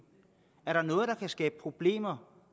er der noget der kan skabe problemer